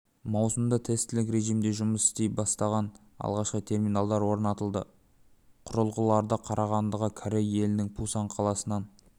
маусымында тестілік режимде жұмыс істей бастаған алғашқы терминалдар орнатылды құрылғыларды қарағандыға корей елінің пусан қаласынан